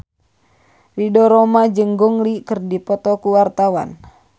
Ridho Roma jeung Gong Li keur dipoto ku wartawan